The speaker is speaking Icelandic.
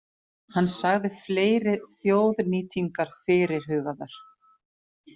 Hann sagði fleiri þjóðnýtingar fyrirhugaðar